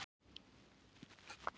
Viggó: Í hvaða íþróttagrein ert þú?